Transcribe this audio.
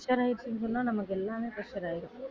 pressure ஆயிருச்சுனு சொன்னா நமக்கு எல்லாமே pressure ஆயிரும்